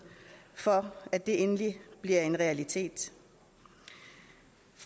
for at det endelig bliver en realitet